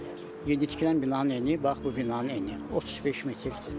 Yeni tikilən binanın eni, bax bu binanın eni 35 metrdir.